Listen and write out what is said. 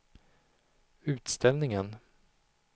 utställningen